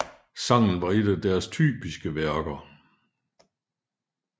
Sangen var en af deres typiske værker